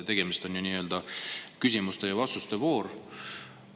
Tegemist on ju nii-öelda küsimuste ja vastuste vooruga.